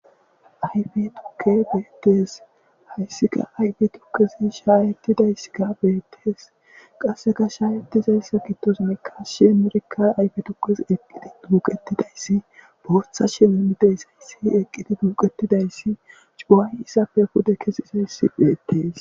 Ayfe tuke beetees hayssika ayfe tukezi shaayettidayssikka beettees qasseka shaayetizayssa kittos mikas shimerika ayfe tuqes eqqidi duuqettidayssi bortha shemimideys ayssi eqqidi duuqettidayssi cuway izappe pude kesizayssi beettees.